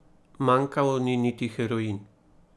Manjkal ni niti heroin.